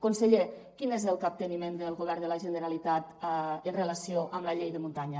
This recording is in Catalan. conseller quin és el capteniment del govern de la generalitat en relació amb la llei de muntanya